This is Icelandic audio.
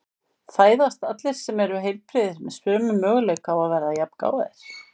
Fæðast allir sem eru heilbrigðir með sömu möguleika á að verða jafngáfaðir?